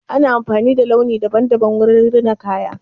Ana amfani da launi daban-daban wurin rina kaya.